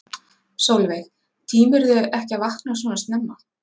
Sólveig: Tímirðu ekki að vakna svona snemma?